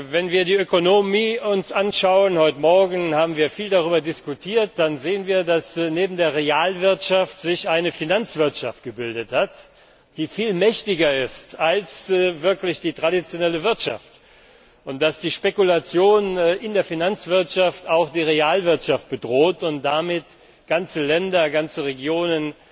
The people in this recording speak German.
Wenn wir uns die Ökonomie anschauen heute Morgen haben wir viel darüber diskutiert dann sehen wir, dass sich neben der Realwirtschaft eine Finanzwirtschaft gebildet hat, die viel mächtiger ist als die traditionelle Wirtschaft, und dass die Spekulation in der Finanzwirtschaft auch die Realwirtschaft bedroht und damit ganze Länder, ganze Regionen,